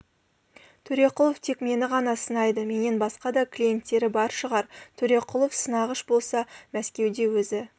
төреқұлов тек мені ғана сынайды менен басқа да клиенттері бар шығар төреқұлов сынағыш болса мәскеуде өзі